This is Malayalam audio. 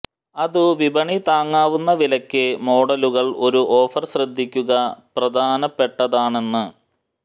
അതു വിപണി താങ്ങാവുന്ന വിലയ്ക്ക് മോഡലുകൾ ഒരു ഓഫർ ശ്രദ്ധിക്കുക പ്രധാനപ്പെട്ടതാണെന്ന്